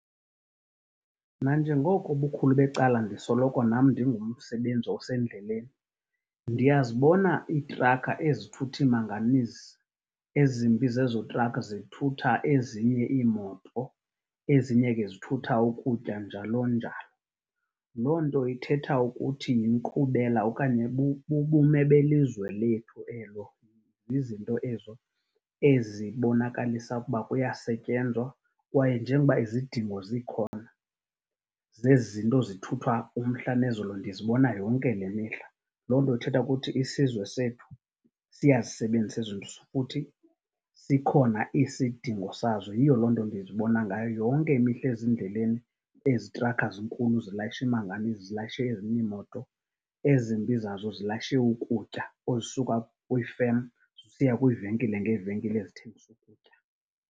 Nanjengoko ubukhulu becala ndisoloko nam ndingumsebenzi osendleleni ndiyazibona iitrakha ezithutha iimanganizi. Ezimbi zezo trakha zithutha ezinye iimoto, ezinye ke zithutha ukutya, njalo-njalo. Loo nto ithetha ukuthi yinkqubela okanye bubume belizwe lethu elo, zizinto ezo ezibonakalisa ukuba kuyasetyenzwa kwaye njengoba izidingo zikhona zezi zinto zithuthwa umhla nezolo ndizibona yonke le mihla. Loo nto ithetha ukuthi isizwe sethu siyazisebenzisa futhi sikhona isidingo sazo. Yiyo loo nto ndizibona ngayo yonke imihla ezindleleni ezi trakha zinkulu zilayisha imanganizi, zilayishe ezinye iimoto, ezimbi zazo zilayishe ukutya kwiifem zisiya kwiivenkile ngeevenkile ezithengisa ukutya.